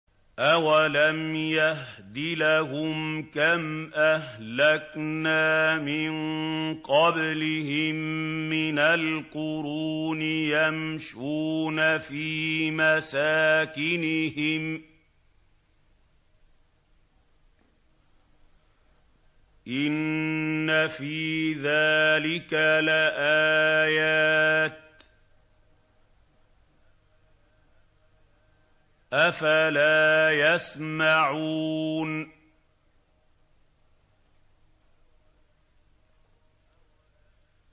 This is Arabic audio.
أَوَلَمْ يَهْدِ لَهُمْ كَمْ أَهْلَكْنَا مِن قَبْلِهِم مِّنَ الْقُرُونِ يَمْشُونَ فِي مَسَاكِنِهِمْ ۚ إِنَّ فِي ذَٰلِكَ لَآيَاتٍ ۖ أَفَلَا يَسْمَعُونَ